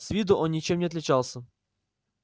с виду он ничем не отличался